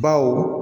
Baw